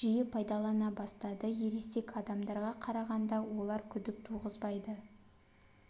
жиі пайдалана бастады ересек адамдарға қарағанада олар күдік туғызбайды